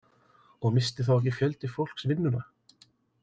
Og missti þá ekki fjöldi fólks vinnuna?